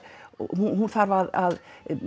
og hún þarf að